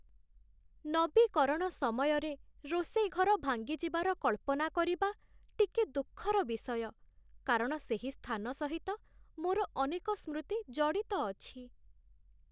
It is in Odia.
ନବୀକରଣ ସମୟରେ ରୋଷେଇ ଘର ଭାଙ୍ଗିଯିବାର କଳ୍ପନା କରିବା ଟିକେ ଦୁଃଖର ବିଷୟ, କାରଣ ସେହି ସ୍ଥାନ ସହିତ ମୋର ଅନେକ ସ୍ମୃତି ଜଡ଼ିତ ଅଛି